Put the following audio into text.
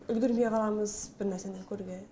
үлгермей қаламыз бірнәрсені көруге